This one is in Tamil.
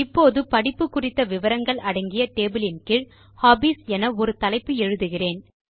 இப்போது படிப்பு குறித்த விவரங்கள் அடங்கிய டேபிள் யின் கீழ் ஹாபீஸ் என ஒரு தலைப்பு எழுதுகிறோம்